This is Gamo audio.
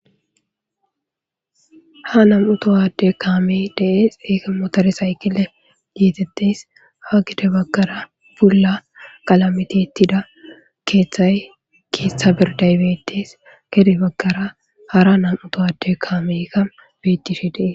ha nam7utowade kaame dees eke motares haykile yeetettes ha gede baggara bulla qalamitittida keeththay keeththa birday beettes gede baggara hara nam7utowade kaamekka bettihi dees